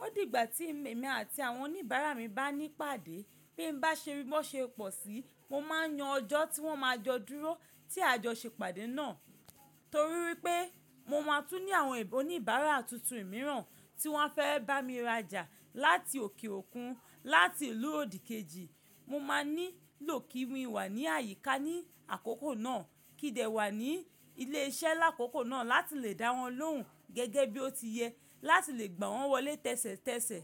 Ó di gbà tí èmi àti àwọn oníbàárà mi bá ní ìpàdé, bí n bá ṣe rí bó ṣe pọ̀ sí i, mo máa yan ọjọ́ tí wọ́n ma jọ dúró tí a jọ ṣe ìpàdé náà. Torí wípé mo máa tún ní àwọn oníbàárà tuntun mìíràn tí wọ́n fẹ́ bá mi rajà láti òkè òkun láti ìlú òdìkejì, mo máa nílò kí mi wà ní àyíká ní àkókò náà kí dẹ̀ wà ní ilé iṣẹ́ lákòókò náà láti lè dáwọn lóhùn gẹ́gẹ́ bí ó ti yẹ láti lè gbà wọ́n wọlé tẹ́sẹ̀tẹ́sẹ̀.